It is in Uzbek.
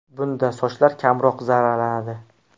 Bunda sochlar kamroq zararlanadi.